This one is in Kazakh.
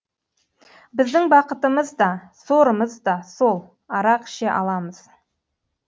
біздің бақытымыз да сорымыз да сол арақ іше аламыз